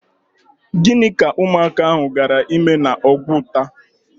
Gịnị ka ụmụaka ahụ gaara ịme n'Úgwùtà?